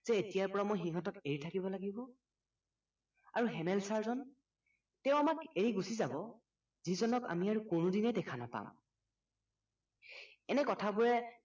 যে এতিয়াৰ পৰা মই সিহতঁক এৰি থাকিব লাগিব আৰু হেমেল চাৰজন তেওঁ আমাক এৰি গুচি যাব যিজনক আমি আৰু কোনোদিনে দেখা নাপাম এনে কথা বোৰে